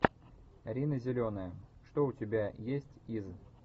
рина зеленая что у тебя есть из